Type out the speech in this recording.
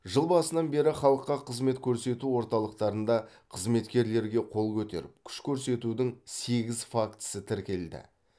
жыл басынан бері халыққа қызмет көрсету орталықтарында қызметкерлерге қол көтеріп күш көрсетудің сегіз фактісі тіркелді